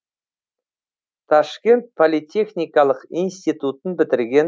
ташкент политехникалық институтын бітірген